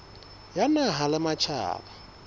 ya naha le ya matjhaba